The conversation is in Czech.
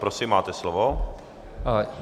Prosím, máte slovo.